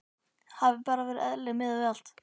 Hafi bara verið eðlileg miðað við allt.